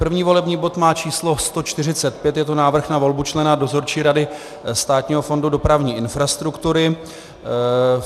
První volební bod má číslo 145, je to návrh na volbu člena Dozorčí rady Státního fondu dopravní infrastruktury.